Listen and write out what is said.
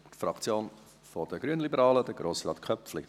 Danke für Ihr Zuhören.